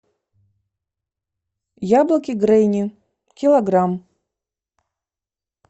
яблоки гренни килограмм